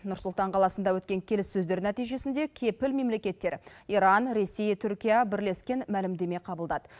нұр сұлтан қаласында өткен келіссөздер нәтижесінде кепіл мемлекеттер иран ресей түркия бірлескен мәлімдеме қабылдады